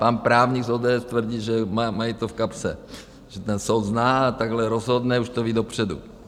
Pan právník z ODS tvrdí, že mají to v kapse, že ten soud zná a takhle rozhodne, už to ví dopředu.